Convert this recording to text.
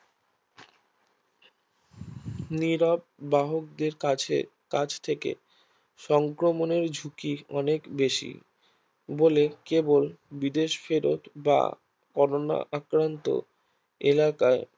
নিরব বাহক দের কাছে কাছ থেকে সংক্রমণের ঝুঁকি অনেক বেশি বলে কেবল বিদেশ ফেরত বা করোনা আক্রান্ত এলাকায়